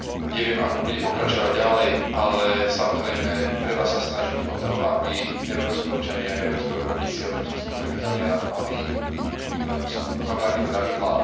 Neviem ako bude pokračovať ďalej, ale samozrejme treba sa snažiť o to, aby európski občania, európski obchodníci a európski spotrebitelia mali, povedal by som, rovnaké pravidlá.